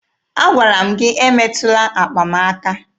Agwara m gị emetụla akpa m aka!